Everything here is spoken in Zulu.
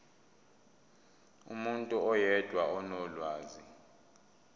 umuntu oyedwa onolwazi